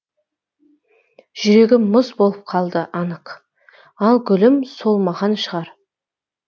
жүрегім мұз болып қалды анық ал гүлім солмаған шығар